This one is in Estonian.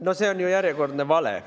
No see on ju järjekordne vale.